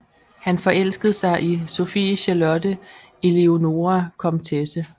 Han forelskede sig i Sophie Charlotte Eleonore Komtesse v